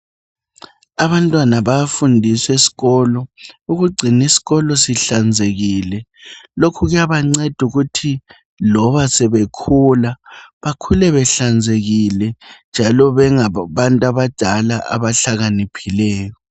Abantwana bayafundiswa esikolo ukugcina isikolo sihlanzekile lokhu kuyabanceda ukuthi loba sebekhula bakhule behlanzekile njalo bengabantu abadala abahlakaniphileyo.